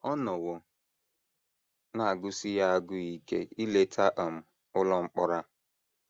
Ọ nọwo na - agụsi ya agụụ ike ileta um ụlọ mkpọrọ a.